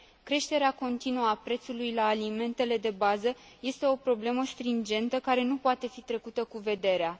Creșterea continuă a prețului la alimentele de bază este o problemă stringentă, care nu poate fi trecută cu vederea.